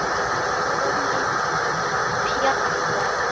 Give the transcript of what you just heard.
Honum Pjatta?